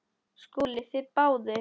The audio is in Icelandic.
SKÚLI: Þið báðir?